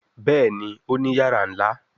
Béèni Òní iyàrá nlá.